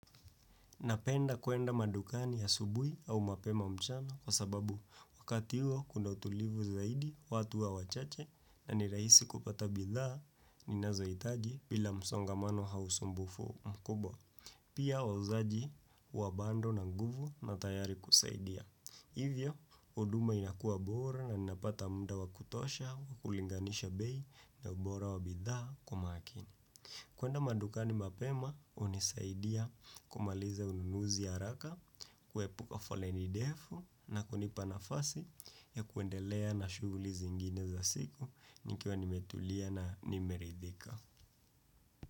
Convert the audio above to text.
Napenda kuenda madukani asubuhi au mapema mchana kwa sababu wakati huo kuna utulivu zaidi watu huwa wachache na nirahisi kupata bidhaa ninazoitaji bila msongamano au sumbufu mkubwa. Pia wauzaji huwa bado na nguvu na tayari kusaidia. Hivyo, huduma inakuwa bora naninapata muda wakutosha wakulinganisha bei na ubora wa bidhaa kwa umakini. Kuenda madukani mapema, hunisaidia kumaliza ununuzi haraka, kuepuka foleni ndefu na kunipa nafasi ya kuendelea na shughuli zingine za siku nikiwa nimetulia na nimeridhika.